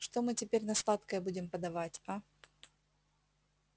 что мы теперь на сладкое будем подавать а